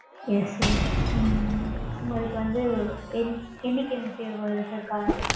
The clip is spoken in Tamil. Yes Sir. ம்ம் உங்களுக்கு வந்து என். என்னைக்கு தேவை sir car?